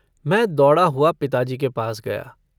मैं दौड़ा हुआ पिताजी के पास गया।